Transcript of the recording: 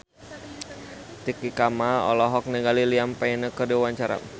Titi Kamal olohok ningali Liam Payne keur diwawancara